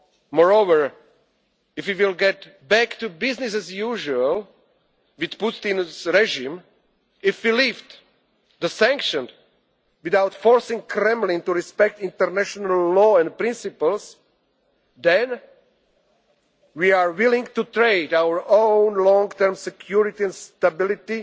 them on their own. Moreover, if we get back to business as usual with Putin's regime, if we lift the sanctions without forcing the Kremlin to respect international law and principles, then we are willing to trade our own long term